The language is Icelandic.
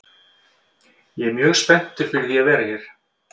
Ég er mjög spenntur fyrir því að vera hér.